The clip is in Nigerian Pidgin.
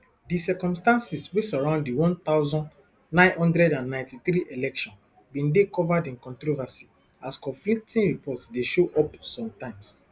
di circumstances wey surround di one thousand, nine hundred and ninety-three election bin dey covered in controversy as conflicting reports dey show up sometimes